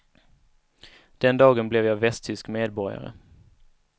Den dagen blev jag västtysk medborgare.